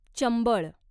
Chambal